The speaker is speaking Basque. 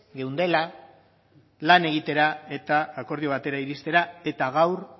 geundela lan egitera eta akordio batera iristera eta gaur